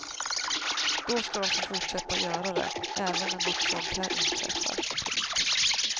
Då ska de få fortsätta göra det även när något sådant här inträffar. punkt